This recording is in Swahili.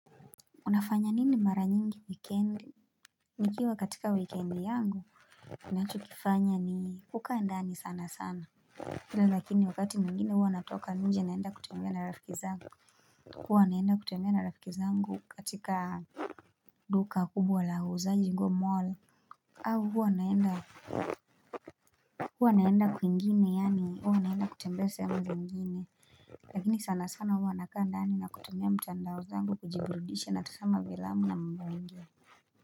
Unafanya nini mara nyingi wikendi Nikiwa katika wikendi yangu ninachokifanya ni kukaa ndani sana sana. Ila lakini wakati mwingine huwa natoka nje naenda kutembea na rafiki zangu huwa naenda kutembea na rafiki zangu katika duka kubwa la huuza nguo mall. Au huwa naenda, huwa naenda kwingine yaani huwa naenda kutembea sahemu zingine Lakini sana sana huwa nakaa ndani na kutembea mtandao zangu kujiburidisha na tazama filamu na mambo mengine.